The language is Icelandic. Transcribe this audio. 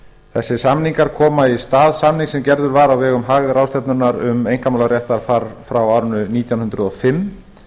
þessir samningar koma í stað samnings sem gerður var á vegum haag ráðstefnunnar um einkamálaréttarfar frá árinu nítján hundruð og fimm